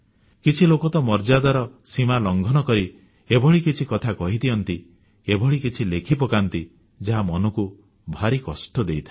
କିଛି ଲୋକ ତ ମର୍ଯ୍ୟାଦାର ସୀମା ଲଂଘନ କରି ଏଭଳି କିଛି କଥା କହିଦିଅନ୍ତି ଏଭଳି କିଛି ଲେଖି ପକାନ୍ତି ଯାହା ମନକୁ ଭାରି କଷ୍ଟ ଦେଇଥାଏ